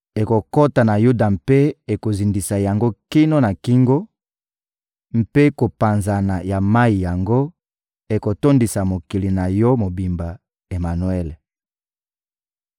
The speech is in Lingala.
Ekokota na Yuda mpe ekozindisa yango kino na kingo; mpe kopanzana ya mayi yango ekotondisa mokili na yo mobimba, Emanwele.»